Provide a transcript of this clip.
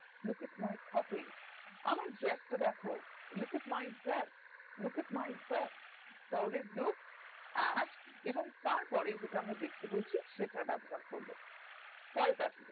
look at my copy আমার dress টা দ্যাখো look at my dress look at my dress তাহলে এবং তার পরে আমরা যে টা আমরা দেখতে বলছি সেটা ব্যবহার করবো পরের pattern